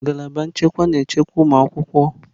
Ngalaba nchekwa na-echekwa ụmụ akwụkwọ.